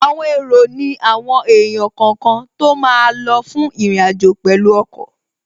Àwọn èrò ní àwọn èèyàn kọ̀ọ̀kan tó máa lọ fún ìrìnàjò pẹ̀lú ọkọ̀